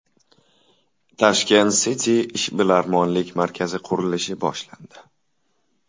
Tashkent City ishbilarmonlik markazi qurilishi boshlandi .